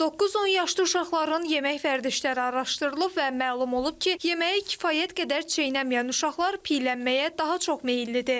9-10 yaşlı uşaqların yemək vərdişləri araşdırılıb və məlum olub ki, yeməyi kifayət qədər çeynəməyən uşaqlar piyələnməyə daha çox meyillidir.